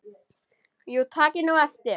Já takið nú eftir.